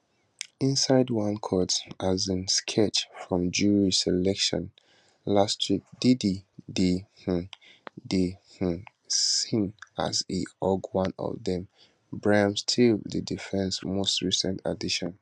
inside one court um sketch from jury selection last week diddy dey um dey um seen as e hug one of dem brian steel di defence most recent addition